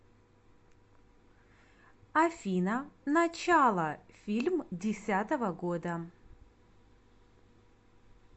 афина начало фильм десятого года